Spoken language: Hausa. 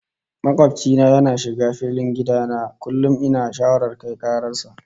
Makobci na yana shiga filin gida na, kuma ina shawarar kai karar sa